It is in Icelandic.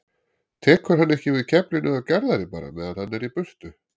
Tekur hann ekki við keflinu af Garðari bara meðan hann er í burtu?